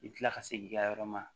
I bi kila ka segin i ka yɔrɔ ma